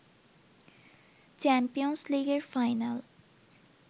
champions লীগের final